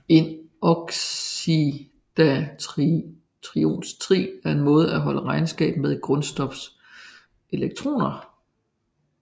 Et oxidationstrin er en måde at holde regnskab med et grundstofs elektroner